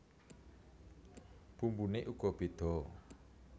Bumbune uga bedha